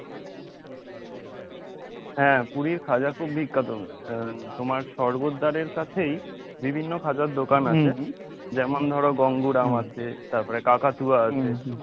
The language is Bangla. হ্যাঁ, পুরীর খাজা খুব বিখ্যাত তোমার স্বর্গদ্বারের কাছেই বিভিন্ন খাজার দোকান আছে যেমন ধরো গঙ্গুরাম আছে তারপরে কাকাতুয়া আছে।